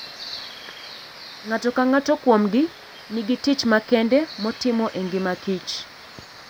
Ng'ato ka ng'ato kuomgi nigi tich makende motimo e ngimakich.